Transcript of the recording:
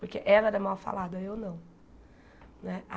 Porque ela era mal falada, eu não né.